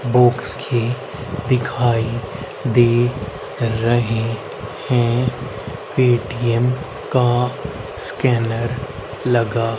books की दिखाई दे रहे हैं पेटीएम का स्कैनर लगा--